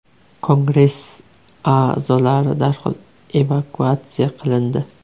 Kongress a’zolari darhol evakuatsiya qilindi.